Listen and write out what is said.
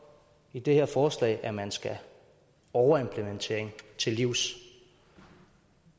i det her forslag at man skal overimplementering til livs